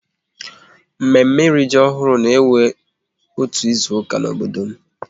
Mme mme ịrị ji ọhụrụ na-ewe otu izuka n'obodo m